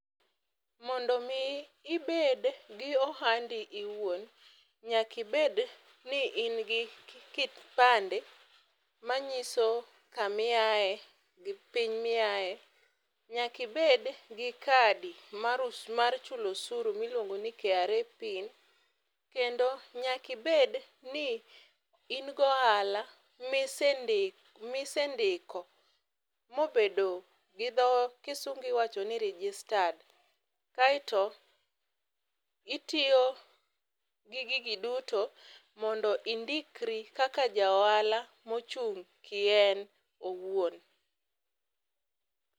Mondo mi ibed gi ohandi iwuon, nyaki bed ni in gi kipande, manyiso kami aye gi piny miaye. Nyaki bed gi kadi mar uso mar chulo osuru mar KRA pin kendo nyaki bed ni in gohala misendik misendiko mobedo gidho kisungu iwacho ni registered. Kaeto itiyo gi gigi duto mondo indikri kaka ja ohala mochung' kien owuon.